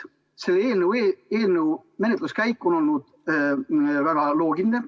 Selle eelnõu menetluskäik on olnud väga loogiline.